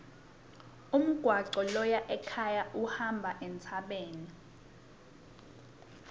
umgwaco loya ekhaya uhamba entsabeni